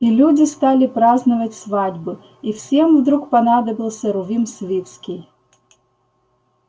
и люди стали праздновать свадьбы и всем вдруг понадобился рувим свицкий